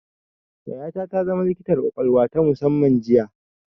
Yayata ta zama likitar ƙwaƙwalwa ta musamman jiya